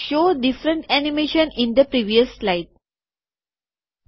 show different animation in the previous slide જુદા જુદા એનીમેશનોને પાછલી સ્લાઈડમાં બતાવો